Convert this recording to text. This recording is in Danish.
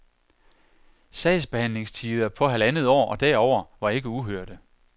Sagsbehandlingstider på halvandet år og derover var ikke uhørte.